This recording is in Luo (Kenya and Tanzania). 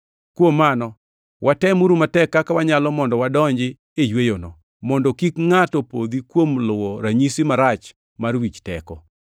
Kuom mano, watemuru matek kaka wanyalo mondo wadonji e yweyono, mondo kik ngʼato podhi kuom luwo ranyisi marach mar wich teko.